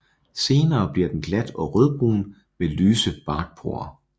Senere bliver den glat og rødbrun med lyse barkporer